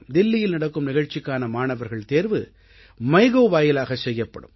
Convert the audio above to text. தில்லியில் நடக்கும் நிகழ்ச்சிக்கான மாணவர்கள் தேர்வு மைகோவ் வாயிலாகச் செய்யப்படும்